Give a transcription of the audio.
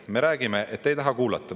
Me räägime, aga te ei taha kuulata.